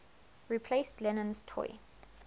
replaced lennon's toy